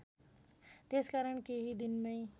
त्यसकारण केही दिनमै